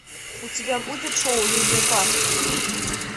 у тебя будет шоу южный парк